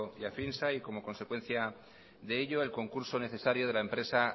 y afinsa y como consecuencia de ello el concurso necesario de la empresa